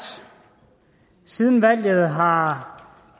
siden valget har